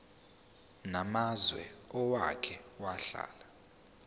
namazwe owake wahlala